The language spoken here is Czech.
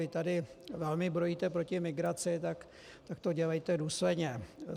Vy tady velmi brojíte proti migraci, tak to dělejte důsledně.